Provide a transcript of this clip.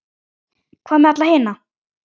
Hvað með alla hina?